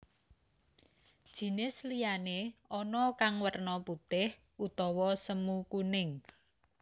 Jinis liyane ana kang werna putih utawa semu kuning